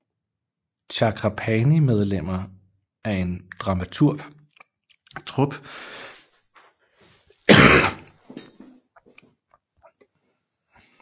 Chakrapani medlemmer af en dramatrup for at forsørge deres familie